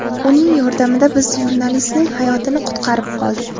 Uning yordamida biz jurnalistning hayotini qutqarib qoldik.